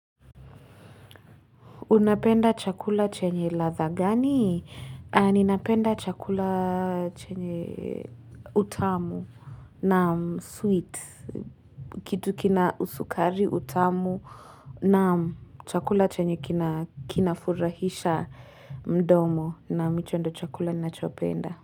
Unapenda chakula chenye ladha gani? Ninapenda chakula chenye utamu naam, sweet. Kitu kina usukari utamu naam chakula chenye kina kinafurahisha mdomo naam hicho ndo chakula ninachopenda.